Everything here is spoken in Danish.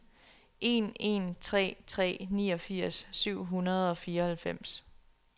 en en tre tre niogfirs syv hundrede og fireoghalvfems